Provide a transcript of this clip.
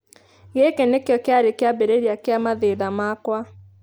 Gĩkĩ nĩkĩo kĩarĩ kĩambĩrĩria kĩa mathĩna makwa.'